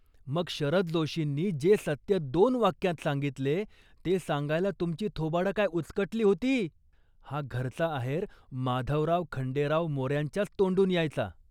मग शरद जोशींनी जे सत्य दोन वाक्यांत सांगितले, ते सांगायला तुमची थोबाडं काय उचकाटली होती. " हा खास आहेर माधवराव खंडेराव मोऱ्यांच्याच तोंडून यायचा